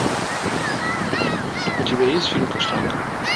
у тебя есть фильм каштанка